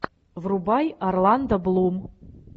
врубай орландо блум